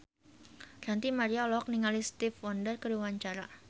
Ranty Maria olohok ningali Stevie Wonder keur diwawancara